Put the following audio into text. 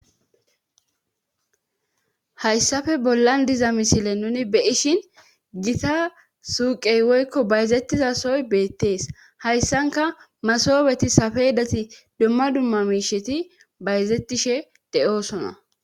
Hayssafe bollan diza misile nuni be ishin gita suuqey woykko bayzettizasoy beettees hayssanka masobeti sapeedati dumma dumma miisheti bayzettishe de'oosona